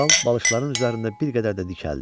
Kral balışların üzərində bir qədər də dikəldi.